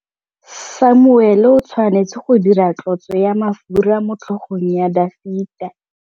Samuele o tshwanetse go dirisa tlotsô ya mafura motlhôgong ya Dafita.